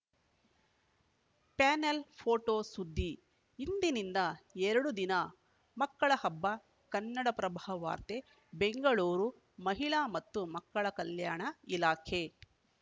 panel photo ಸುದ್ದಿ ಇಂದಿನಿಂದ ಎರಡು ದಿನ ಮಕ್ಕಳ ಹಬ್ಬ ಕನ್ನಡಪ್ರಭ ವಾರ್ತೆ ಬೆಂಗಳೂರು ಮಹಿಳಾ ಮತ್ತು ಮಕ್ಕಳ ಕಲ್ಯಾಣ ಇಲಾಖೆ